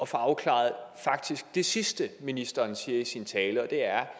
få afklaret det sidste ministeren siger i sin tale og det er